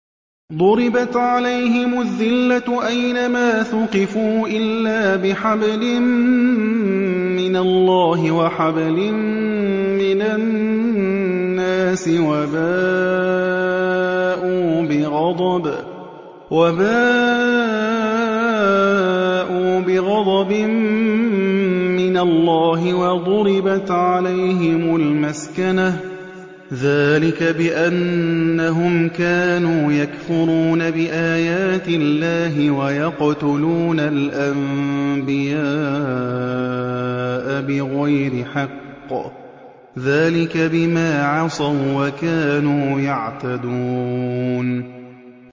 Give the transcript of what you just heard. ضُرِبَتْ عَلَيْهِمُ الذِّلَّةُ أَيْنَ مَا ثُقِفُوا إِلَّا بِحَبْلٍ مِّنَ اللَّهِ وَحَبْلٍ مِّنَ النَّاسِ وَبَاءُوا بِغَضَبٍ مِّنَ اللَّهِ وَضُرِبَتْ عَلَيْهِمُ الْمَسْكَنَةُ ۚ ذَٰلِكَ بِأَنَّهُمْ كَانُوا يَكْفُرُونَ بِآيَاتِ اللَّهِ وَيَقْتُلُونَ الْأَنبِيَاءَ بِغَيْرِ حَقٍّ ۚ ذَٰلِكَ بِمَا عَصَوا وَّكَانُوا يَعْتَدُونَ